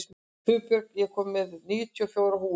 Hugbjörg, ég kom með níutíu og fjórar húfur!